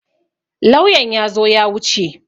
Lauyan ya zo ya wuce.